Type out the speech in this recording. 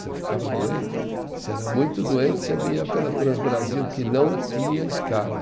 Você ficava doente, se era muito doente, você vinha pela Transbrasil, que não tinha escala.